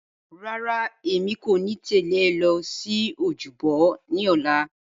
Rárá, èmi kò ní tẹ̀lé ọ lọ sí ojúbọ ní ọ̀la.